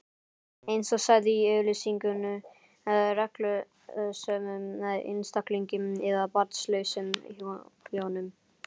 eins og sagði í auglýsingunni: reglusömum einstaklingi eða barnlausum hjónum.